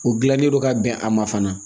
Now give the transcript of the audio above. O gilanlen don ka bɛn a ma fana